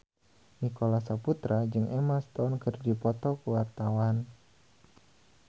Nicholas Saputra jeung Emma Stone keur dipoto ku wartawan